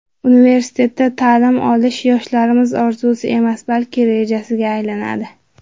Universitetda ta’lim olish yoshlarimiz orzusi emas, balki rejasiga aylanadi.